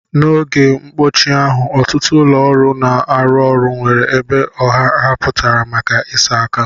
N'oge mkpọchi ahụ, ọtụtụ ụlọ ọrụ na-arụ ọrụ nwere ebe ọha ahapụtara maka ịsa aka.